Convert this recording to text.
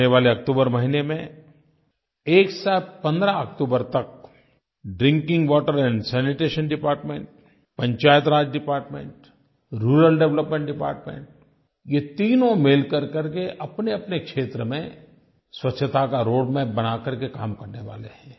आने वाले अक्टूबर महीने में 1 से 15 अक्टूबर तक drinking water and sanitation department Panchayati Raj department rural development department ये तीनों मिल करके अपनेअपने क्षेत्र में स्वच्छता का रोडमैप बना करके काम करने वाले हैं